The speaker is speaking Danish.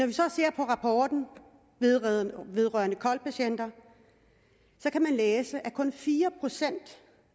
vi så ser på rapporten vedrørende kol patienter kan man læse at kun fire procent